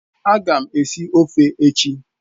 Aga m esi ofe echi